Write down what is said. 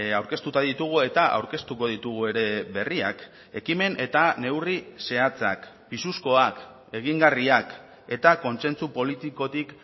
aurkeztuta ditugu eta aurkeztuko ditugu ere berriak ekimen eta neurri zehatzak pisuzkoak egingarriak eta kontsentsu politikotik